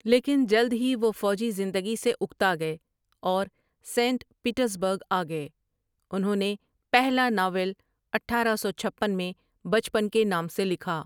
لیکن جلد ہی وہ فوجی زندگی سے اکتا گئے اور سینٹ پیٹرزبرگ آ گئے انہوں نے پہلا ناول اٹھارہ سو چھپن میں بچپن کے نام سے لکھا ۔